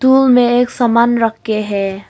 Room में एक समान रखे हैं।